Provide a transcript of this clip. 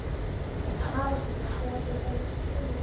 ALEXANDER: Já, til dæmis í trúmálum?